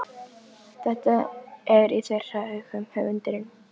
Þetta er í þeirra augum höfundurinn